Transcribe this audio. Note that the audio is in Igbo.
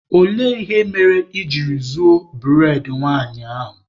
Olee ihe mere I jiri zuo bụredị nwanyị ahụ?